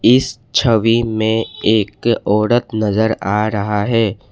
इस छवि में एक औरत नजर आ रहा है।